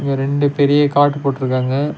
இங்க ரெண்டு பெரிய காட் போட்ருக்காங்க.